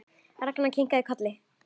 Ragnar kinkaði kolli.